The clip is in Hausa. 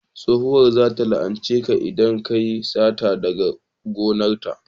tsohuwar za ta la'ance ka idan kayi sata daga gonar ta